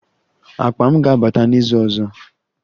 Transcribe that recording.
Akpa m ga-abata n'izu ọzọ